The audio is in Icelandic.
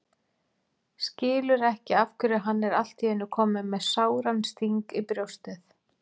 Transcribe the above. Skilur ekki af hverju hann er allt í einu kominn með sáran sting í brjóstið.